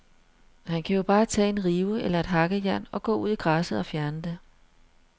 Han kan jo bare tage en rive eller et hakkejern og gå ud i græsset og fjerne det.